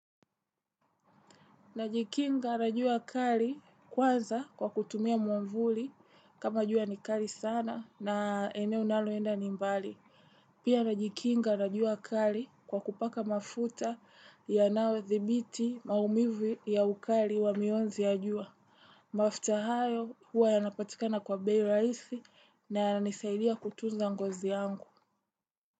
Najikinga na jua kali, kwanza kwa kutumia mwavuli kama jua ni kali sana na eneo ninalo enda ni mbali. Pia najikinga na jua kali kwa kupaka mafuta yanayo dhibiti maumivu ya ukali wa mionzi ya jua. Mafuta hayo huwa yanapatikana kwa bei rahisi na yananisaidia kutunza ngozi yangu.